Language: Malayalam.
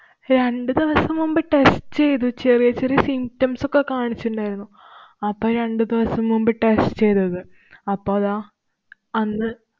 രണ്ടു ദിവസം മുമ്പ് test ചെയ്തു. ചെറിയ ചെറിയ symptoms ഒക്കെ കാണിച്ചിണ്ടായിരുന്നു. അപ്പൊ രണ്ടു ദിവസം മുമ്പ് test ചെയ്തത്. അപ്പൊ ദാ അന്ന്